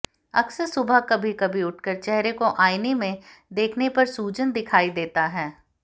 अक्सर सुबह कभी कभी उठकर चेहरे को आईने में देखने पर सूजन दिखाई देता है